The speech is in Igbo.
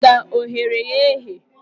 Ada o ghere ya eghe!